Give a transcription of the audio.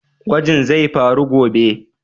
Gwajin zai faru gobe?